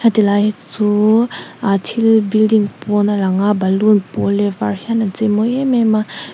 tihlai chu aa thil building pawn a lang a balloon pawl leh var hian an cheimawi em em a.